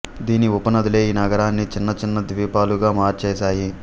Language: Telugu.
దీని ఉపనదులే ఈ నగరాన్ని చిన్న చిన్న ద్వీపాలుగా మార్చేశాయి